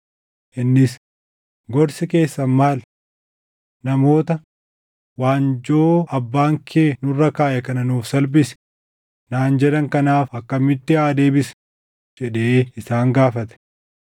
Innis, “Gorsi keessan maal? Namoota, ‘Waanjoo abbaan kee nurra kaaʼe kana nuuf salphisi’ naan jedhan kanaaf akkamitti haa deebisnu?” jedhee isaan gaafate.